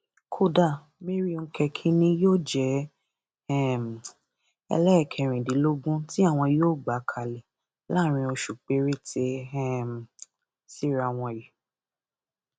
kódà mary ńkẹkí ni yóò jẹ um ẹlẹẹkẹrìndínlógún tí àwọn yóò gbà kalẹ láàárín oṣù péréte um síra wọn yìí